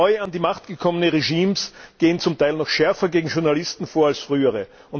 Neu an die Macht gekommene Regimes gehen zum Teil noch schärfer gegen Journalisten vor als frühere.